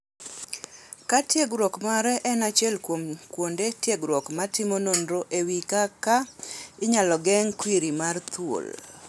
Kar tiegruok mare en achiel kuom kuonde tiegruok ma timo nonro ewi kaka inyal geng' kwiri mar thuol.